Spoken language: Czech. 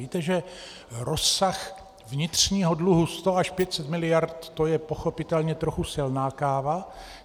Víte, že rozsah vnitřního dluhu 100 až 500 miliard, to je pochopitelně trochu silná káva.